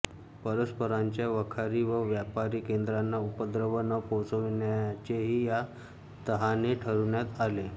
परस्परांच्या वखारी व व्यापारी केंद्रांना उपद्रव न पोहोचविण्याचेही या तहाने ठरविण्यात आले